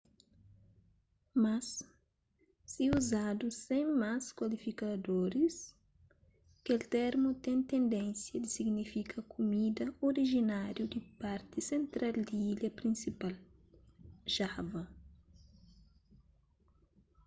mas si uzadu sen más kualifikadoris kel termu ten tendénsia di signifika kumida orijináriu di parti sentral di ilha prinsipal, java